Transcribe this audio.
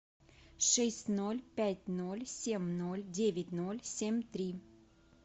шесть ноль пять ноль семь ноль девять ноль семь три